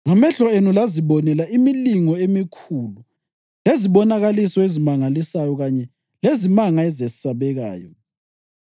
Ngamehlo enu lazibonela imilingo emikhulu, lezibonakaliso ezimangalisayo kanye lezimanga ezesabekayo.